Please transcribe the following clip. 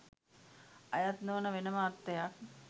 අයත් නොවන වෙනම අර්ථයක්